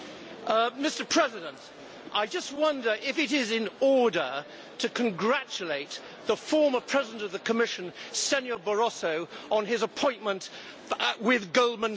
Mr President, I just wonder if it is in order to congratulate the former president of the Commission, Mr Barroso, on his appointment with Goldman Sachs.